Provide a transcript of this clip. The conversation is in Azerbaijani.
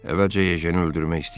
Əvvəlcə yejini öldürmək istəyirdi.